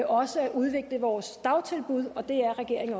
også at udvikle vores dagtilbud og det er regeringen